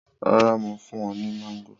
Rara, Mo fun u ni mango.